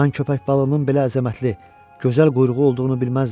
Mən köpək balığının belə əzəmətli, gözəl quyruğu olduğunu bilməzdim.